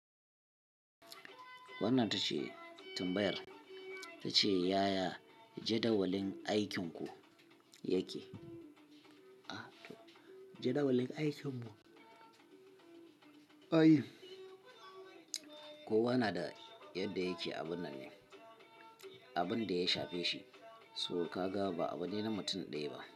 Wannan tace tumbayar ta ce "yaya jadawalin aikinku yake?" a jadawalin aikinmu. Kowa na da yadda yake abun nan ne, abin da ya shafe shi, so kaga ba abu ne na mutum ɗaya ba.